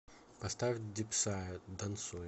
поставь дипсая дансуем